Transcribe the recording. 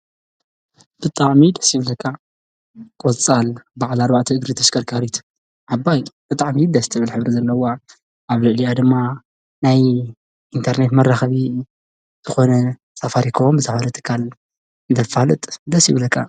ብጣዕሚ ደስ ይብለካ ቆፃል በዓል ኣርባዕተ እግሪ ተሽከርካሪት ዓባይ ብጣዕሚ ደስ ትብል ሕብሪ ዘለዋ ኣብ ልዕሊኣ ድማ ናይ ኢንተርኔት መራከቢ ዝኮነ ሳፋሪኮም ዝሓዘ ትካል እንተፋልጥ ደስ ይብልካ፡፡